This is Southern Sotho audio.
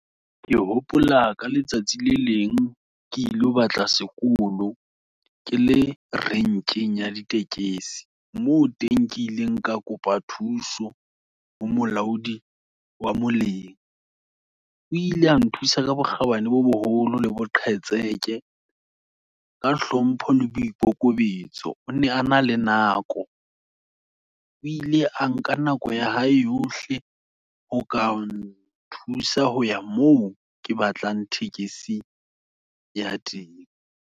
Ke hopola, ka letsatsi le leng, ke ilo batla sekolo, ke le renkeng ya ditekesi, moo teng ke ileng ka kopa thuso, ho molaodi wa moleng. O ile a nthusa ka bokgabane bo boholo, le boqhetseke, ka hlompho le boikokobetso, o ne a na le nako, o ile a nka nako ya hae yohle, ho ka n nthusa hoya moo, ke batlang tekesi ya teng.